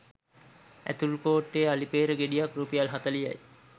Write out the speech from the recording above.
ඇතුල්කෝට්ටෙ අලිපේර ගෙඩියක් රුපියල් හතලිහයි.